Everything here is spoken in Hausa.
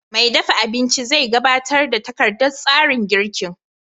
Mai dafa abinci zai gabatar da takardar tsarin girkin